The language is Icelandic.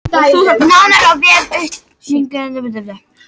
Nánar á vef utanríkisráðuneytisins